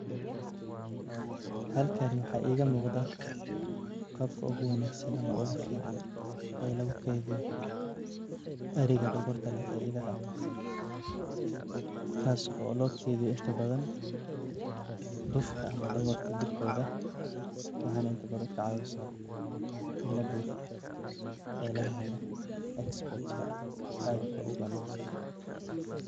Halkani waxaa igamuqdah qabka uguwanagsan ama ugufican lugukediyo eriga dogorta leh ee idaha , kas oo lokediyo inta badhan dufka ama dogorta jirkodha. Waxay na inta badhan kacawisaa in ladofiyo ee lagahelo export adka uwanagsan.